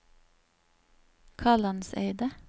Kalandseidet